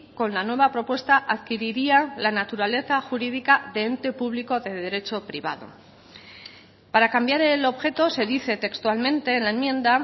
con la nueva propuesta adquiriría la naturaleza jurídica de ente público de derecho privado para cambiar el objeto se dice textualmente en la enmienda